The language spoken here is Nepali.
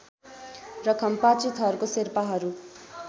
र खम्पाचे थरको शेर्पाहरू